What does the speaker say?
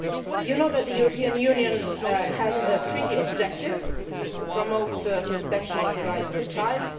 You know that the European Union has a treaty objective to promote the protection of the rights of the child.